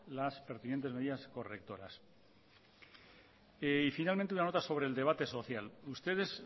las pertinentes medidas correctoras y finalmente una nota sobre el debate social ustedes